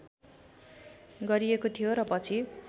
गरिएको थियो र पछि